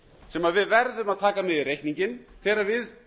sem við verðum að taka með í reikninginn þegar við